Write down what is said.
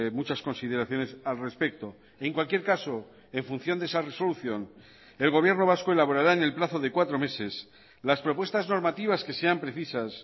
muchas consideraciones al respecto en cualquier caso en función de esa resolución el gobierno vasco elaborará en el plazo de cuatro meses las propuestas normativas que sean precisas